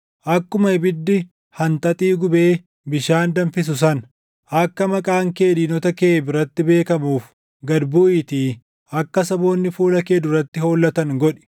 Akkuma ibiddi hanxaxii gubee, bishaan danfisu sana, akka maqaan kee diinota kee biratti beekamuuf gad buʼiitii akka saboonni fuula kee duratti hollatan godhi!